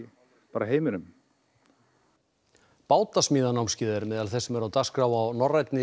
heiminum er meðal þess sem er á dagskrá á norrænni